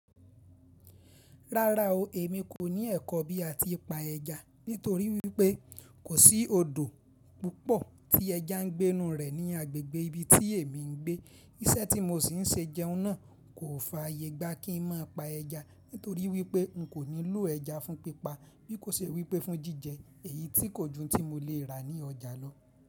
Rárá o, èmi kò ní ẹ̀kọ́ bí a ti pa ẹja nítorí wípé kò sí odò púpọ̀ tí ẹja ń gbé inú rẹ̀ ní agbègbè ibi tí èmi ń gbé. Iṣẹ́ tí mo sì ń ṣe jẹ́ oun náà kò fàyè gbá kí n má pa ẹja nítorí wípé n kò ní lo ẹja fún pípa bí kò ṣe wípé fún jíjẹ èyí tí kò jún tí mo lè rà ní ọjà lọ.